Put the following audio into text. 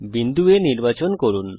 বিন্দু A নির্বাচন করুন